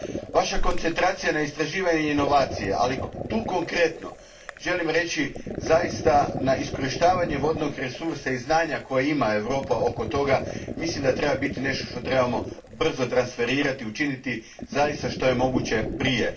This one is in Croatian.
Vaša je koncentracija na istraživanju i inovacijama, ali tu konkretno želim reći, zaista na iskorištavanje vodnog resursa i znanja koje ima Europa s tim, mislim da treba biti nešto što trebamo brzo transferirati, učiniti zaista što je moguće prije.